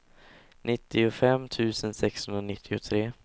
nittiofem tusen sexhundranittiotre